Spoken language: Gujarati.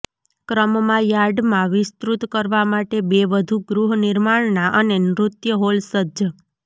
ક્રમમાં યાર્ડ માં વિસ્તૃત કરવા માટે બે વધુ ગૃહ નિર્માણના અને નૃત્ય હોલ સજ્જ